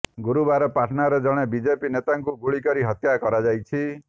ଗୁରୁବାର ପାଟନାରେ ଜଣେ ବିଜେପି ନେତାଙ୍କୁ ଗୁଳିକରି ହତ୍ୟା କରାଯାଇଛି